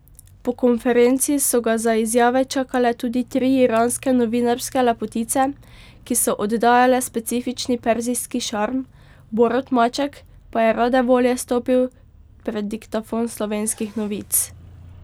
Po konferenci so ga za izjave čakale tudi tri iranske novinarske lepotice, ki so oddajale specifični perzijski šarm, Borut Maček pa je rade volje stopil pred diktafon Slovenskih novic.